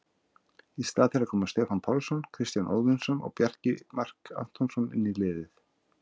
Í stað þeirra koma Stefán Pálsson, Kristján Óðinsson og Bjarni Mark Antonsson inn í liðið.